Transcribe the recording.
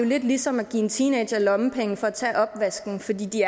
lidt ligesom at give teenagere lommepenge for at tage opvasken fordi de